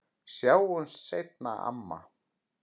Sjáumst seinna, amma.